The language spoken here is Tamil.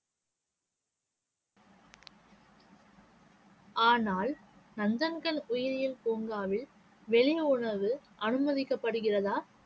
ஆனால் நந்தன்கன் உயிரியல் பூங்காவில் வெளியுணவு அனுமதிக்கப்படுகிறதா?